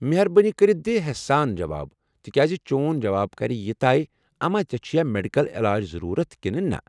مہربٲنی کٔرتھ دِ ہیسہٕ سان جواب ، تِکیٚازِ چون جواب كرِ یہ طے اما ژے٘ چُھیا میڈكل علاج ضرورت كِنہٕ نہٕ۔